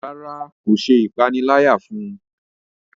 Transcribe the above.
ràrá kò ṣe ìpaniláyà fún.